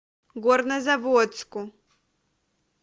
горнозаводску